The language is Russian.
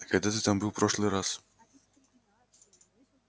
а когда ты там был в прошлый раз